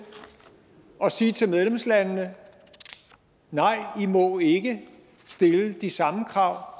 at sige til medlemslandene nej i må ikke stille de samme krav